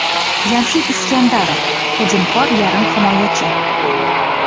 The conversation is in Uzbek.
Jamshid Iskandarov – hujumkor yarim himoyachi.